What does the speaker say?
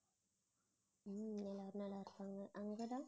எல்லாரும் நல்லாருக்காங்க அங்கடா